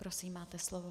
Prosím, máte slovo.